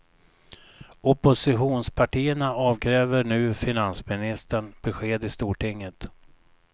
Oppositionspartierna avkräver nu finansministern besked i stortinget.